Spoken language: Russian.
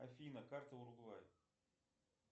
афина карта уругвай